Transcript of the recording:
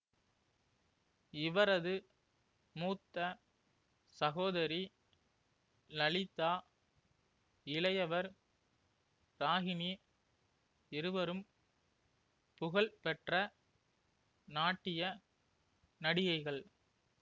இவரது மூத்த சகோதரி லலிதா இளையவர் ராகினி இருவரும் புகழ்பெற்ற நாட்டிய நடிகைகள்